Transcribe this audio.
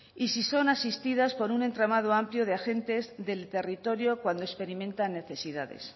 y si son asistidas por entramado amplio de agentes del territorio cuando experimentan necesidades